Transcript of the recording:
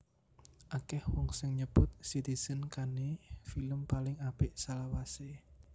Akèh wong sing nyebut Citizen Kane film paling apik salawasé